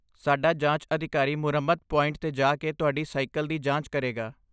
ਸਾਡਾ ਜਾਂਚ ਅਧਿਕਾਰੀ ਮੁਰੰਮਤ ਪੁਆਇੰਟ 'ਤੇ ਜਾ ਕੇ ਤੁਹਾਡੀ ਸਾਈਕਲ ਦੀ ਜਾਂਚ ਕਰੇਗਾ।